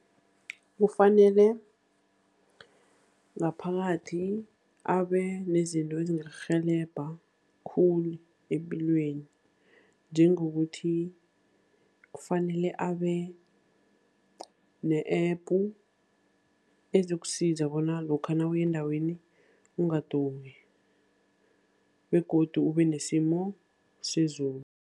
Kufanele ngaphakathi abe nezinto ezingakurhelebha khulu epilweni, njengokuthi kufanele abe ne-app ezokusiza bona lokha nawuya endaweni ungaduki, begodu ube nesimo sezulu.